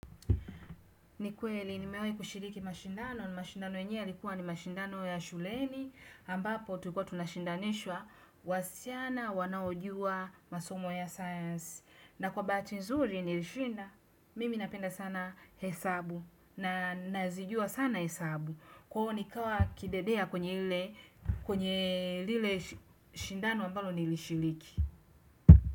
Ni kweli, nimewai kushiriki mashindano. Mashindano yenyewe yalikuwa ni mashindano ya shuleni, ambapo tulikuwa tunashindanishwa, wasichana wanaojua masomo ya science. Na kwa bahati nzuri nilishinda. Mimi napenda sana hesabu, na nazijua sana hesabu, kwaio nikawa kidedea kwenye ile, kwenye, lile shindano ambalo nilishiriki.